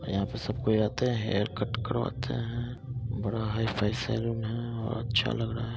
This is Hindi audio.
और यहाँ पे सब कोई आते है हेयर कट करवाते है बड़ा हाई-फाई सैलून है और अच्छा लग रहा है।